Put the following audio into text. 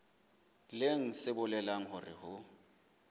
leng se bolelang hore ho